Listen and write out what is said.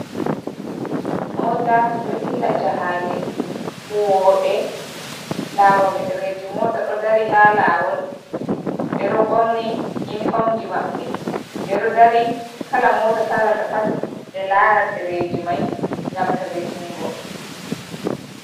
Motaji ɗo dilla jahale, huwoɓe laroɓe dereji mota ɗo dari ha lawol ɓe ɗo ɓorni yinifomji maɓbe. Ɓe ɗo dari kala mota salata pat ɓe lara ɗereji mai ngam tabbetingo.